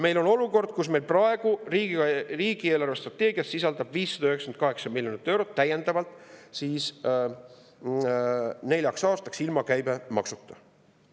Meil on olukord, kus meil praegu riigi eelarvestrateegias sisaldub 598 miljonit eurot täiendavalt neljaks aastaks, ilma käibemaksuta.